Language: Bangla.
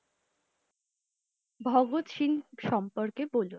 ভাগত সিং সম্পর্কে বলুন?